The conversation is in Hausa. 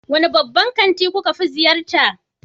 Wane babban kanti kuka fi ziyarta?